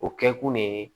O kɛ kun de ye